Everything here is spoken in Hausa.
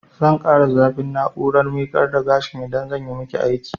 Zan ƙara zafin na'urar miƙar da gashin idan zanyi maki aiki